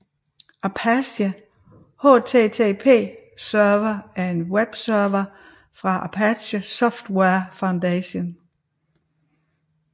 Apache HTTP Server er en webserver fra Apache Software Foundation